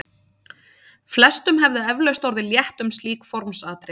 Flestum hefði eflaust orðið létt um slík formsatriði.